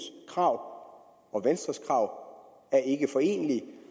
krav og venstres krav er ikke forenelige